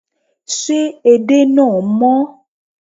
Ṣé edé náà mọ́?